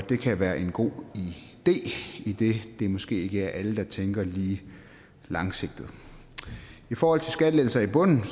det kan være en god idé idet det måske ikke er alle der tænker lige langsigtet i forhold til skattelettelser i bunden